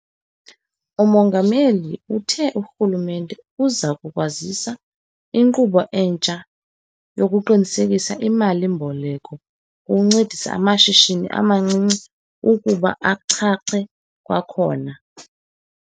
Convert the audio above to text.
UMongameli uthe urhulumente uza kukwazisa inkqubo entsha yokuqinisekisa imali-mboleko ukunceda amashishini amancinci ukuba achache kwakhona.